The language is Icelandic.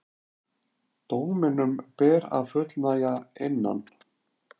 Dóminum ber að fullnægja innan